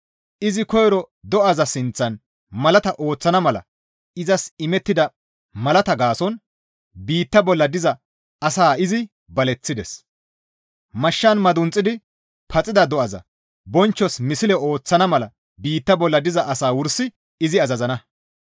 Izi koyro do7aza sinththan malaata ooththana mala izas imettida malaata gaason biitta bolla diza asaa izi baleththides; mashshan madunxidi paxida do7aza bonchchos misle ooththana mala biitta bolla diza asaa wursi izi azazana.